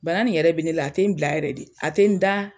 Bana nin yɛrɛ be ne la a te n bila yɛrɛ de a te n daa